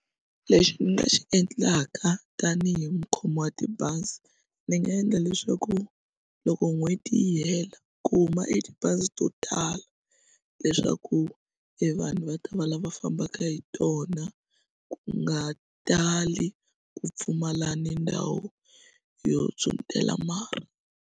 Lexi ni nga xi endlaka tanihi mukhomi wa tibazi ni nga endla leswaku loko n'hweti yi hela ku huma e tibazi to tala leswaku e vanhu va ta va lava fambaka hi tona ku nga tali ku pfumala ni ndhawu yo pyhutela marhi.